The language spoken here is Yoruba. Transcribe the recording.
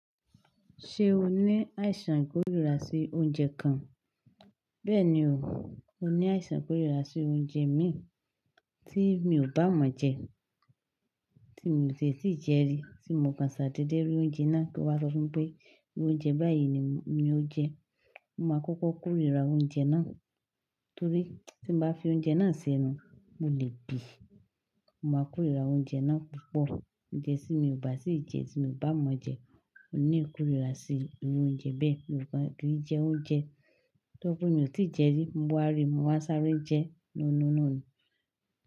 Ṣé o ní àìsàn kórira sí oúnjẹ kan? Bẹ́ẹ̀ni o, mo ní àìsàn kórira sí oúnjẹ mí tí mi ò bá mọ̀ jẹ, tí mi ò tie tì jẹ rí, tí n mò kan ṣà ta dedé rí oúnjẹ náà kí ó wáa sọ fún mi pé, oúnjẹ báyìí ni ó jẹ. Mo máa kọ́kọ́ kórira oúnjẹ náà torí tí mo bá fi oúnjẹ náà sẹ́nu mo lè bí. Mo máa kórira oúnjẹ náà púpọ̀ jẹ́sí mi ò bá sì jẹ tí mo bá mọ̀ jẹ. Mo ní ìkórira sí irú oúnjẹ bẹ́ẹ̀, nìkan kí jẹ oúnjẹ tó pé mi ò tí ì jẹ rí, mo wá rí, mo wá sáré jẹ nóó noó ni.